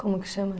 Como que chama?